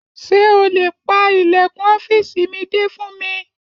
Ṣé o lè pa ilẹ̀kùn ọ́fìsì mi dé fún mi?